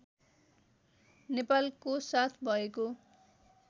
नेपालको साथ भएको